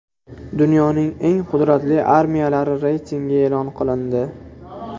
Dunyoning eng qudratli armiyalari reytingi e’lon qilindi.